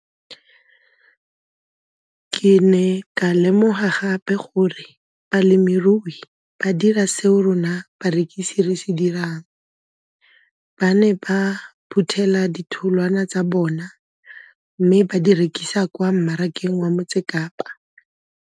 Ke ne ka lemoga gape gore balemirui ba dira seo rona barekisi re se dirang ba ne ba phuthela ditholwana tsa bona mme ba di rekisa kwa marakeng wa Motsekapa.